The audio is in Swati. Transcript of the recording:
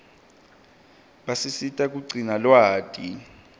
basisita kugcina lwati